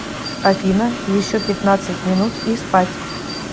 афина еще пятнадцать минут и спать